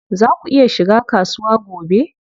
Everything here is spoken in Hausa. Zaa ku iya shiga kasuwa gobe?